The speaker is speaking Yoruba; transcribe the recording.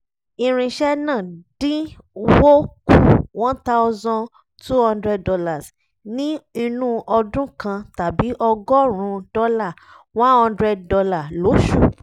irinṣẹ́ náà dín wó kù $1200 ní inú ọdún kan tàbí ọgọ́rùn-ún dọ́là $100 lóṣù